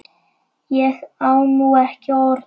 Ég á nú ekki orð!